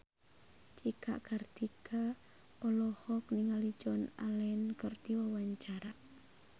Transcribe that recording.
Cika Kartika olohok ningali Joan Allen keur diwawancara